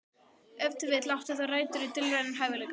Ef til vill átti það rætur í dulrænum hæfileikum.